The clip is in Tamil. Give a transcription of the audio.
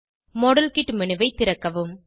மாடல் கிட் மேனு ஐ திறக்கவும்